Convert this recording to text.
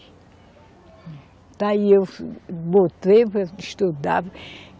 Está aí, eu botei para estudar.